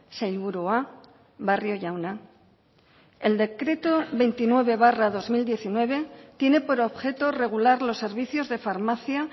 sailburua barrio jauna el decreto veintinueve barra dos mil diecinueve tiene por objeto regular los servicios de farmacia